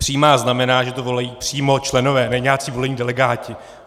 Přímá znamená, že to volí přímo členové, ne nějací volení delegáti.